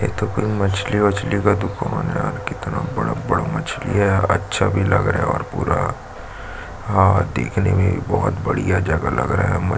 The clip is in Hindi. एक ठो कोई मछली - वचलि का दुकान है कितना बड़ा - बड़ा मछली है अच्छा भी लग रहा है आ ह पूरा ह देखने में बहुत बढ़िया जगह लग रहा है।